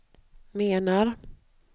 menar